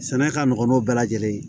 Sɛnɛ ka nɔgɔn n'o bɛɛ lajɛlen ye